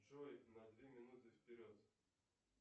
джой на две минуты вперед